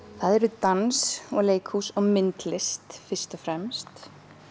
það er dans og leikhús og myndlist fyrst og fremst